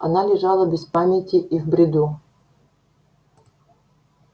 она лежала без памяти и в бреду